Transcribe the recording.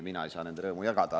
Mina ei saa nende rõõmu jagada.